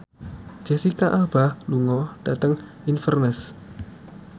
Jesicca Alba lunga dhateng Inverness